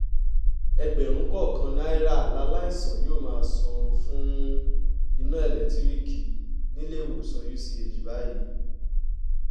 ẹgbẹ̀rún kọ̀ọ̀kan náírà làlàìsàn yóò máa san fún iná elétiríìkì níléèwòsàn uch báyìí